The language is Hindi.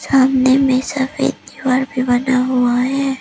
सामने में सफेद दीवार भी बना हुआ है।